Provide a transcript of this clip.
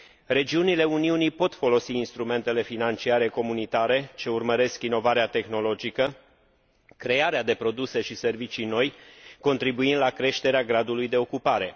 Regiunile Uniunii pot folosi instrumentele financiare comunitare ce urmăresc inovarea tehnologică, crearea de produse și servicii noi, contribuind la creșterea gradului de ocupare.